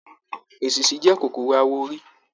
Èsisi jẹ kòkòrò awọ orí.